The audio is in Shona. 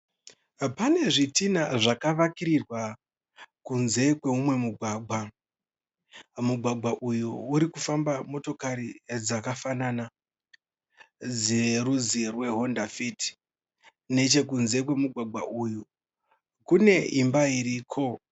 Pane zvidhinha zvakavakirirwa kunze kweumwe mugwagwa. Mugwagwa urikufamba motokari dzakafanana dzerwudzi rwe honda fit. Nechekunze kwemugwagwa uyu kune imba iriko.